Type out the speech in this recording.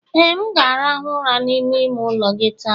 Ee, m ga-arahụ ụra n'ime ime ụlọ gị taa.